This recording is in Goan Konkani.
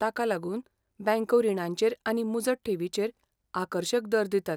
ताका लागून बँको रिणांचेर आनी मुजत ठेवीचेर आकर्शक दर दितात.